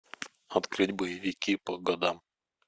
открыть боевики по годам